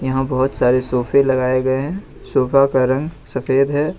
यहां बहोत सारे सोफे लगाए गए हैं सोफा का रंग सफेद है।